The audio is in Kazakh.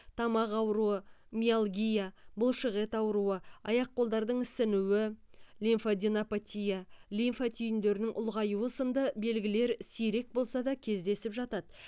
тамақ ауруы миалгия бұлшықет ауруы аяқ қолдардың ісінуі лимфаденопатия лимфа түйіндерінің ұлғаюы сынды белгілер сирек болса да кездесіп жатады